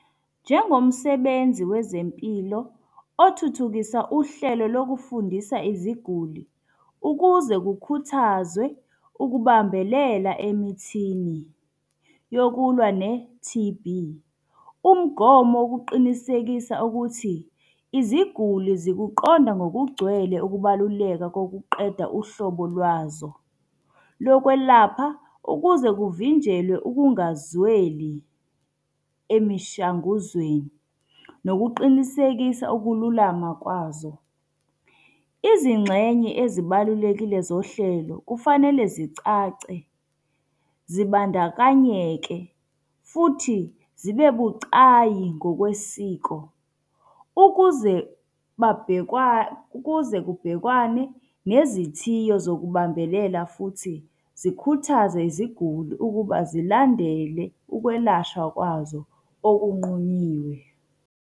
Njengomsebenzi wezempilo othuthukisa uhlelo lokufundisa iziguli ukuze kukhuthazwe ukubambelela emithini yokulwa ne-T_B. Umgomo wokuqinisekisa ukuthi, iziguli zikuqonda ngokugcwele ukubaluleka kokuqeda uhlobo lwazo lokwelapha, ukuze kuvinjelwe ukungazweli emishanguzweni. Nokuqinisekiswa ukululama kwazo. Izingxenye ezibalulekile zohlelo kufanele zicace, zibandakanyeke futhi zibe bucayi ngokwesiko. Ukuze ukuze kubhekwane nezithiyo zokubambelela futhi zikhuthaze iziguli ukuba zilandele ukwelashwa kwazo okunqunyiwe.